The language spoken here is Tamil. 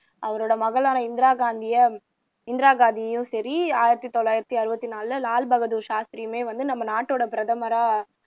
அவரோட மகளான இந்திரா காந்தியை இந்திரா காந்தியும் சரி ஆயிரத்து தொள்ளாயிரத்து அறுபத்து நாலுல லால் பகதூர் சாஸ்திரியுமே வந்து நம்ம நாட்டோட பிரதமரா